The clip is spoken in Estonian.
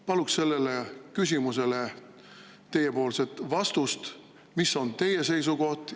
Palun teilt vastust sellele küsimusele, mis on teie seisukoht.